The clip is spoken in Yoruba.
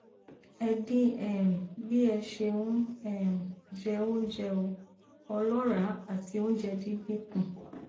ẹ dín um bí ẹ ṣe ń um jẹ oúnjẹ o ọlọràá àti oúnjẹ dídín kù